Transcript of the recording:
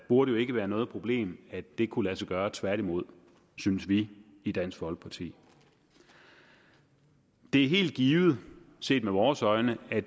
burde jo ikke være noget problem at det kunne lade sig gøre tværtimod synes vi i dansk folkeparti det er helt givet set med vores øjne at